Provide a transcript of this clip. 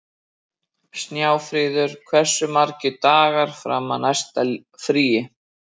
Snjáfríður, hversu margir dagar fram að næsta fríi?